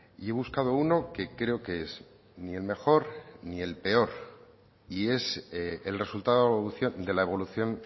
y he buscado uno que creo que es ni el mejor ni el peor y es el resultado de la evolución